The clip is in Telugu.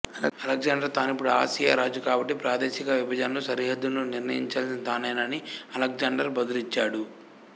అలెగ్జాండర్ తానిపుడు ఆసియా రాజు కాబట్టి ప్రాదేశిక విభజనలు సరిహద్దులను నిర్ణయించాల్సింది తానేనని అలెగ్జాండర్ బదులిచ్చాడు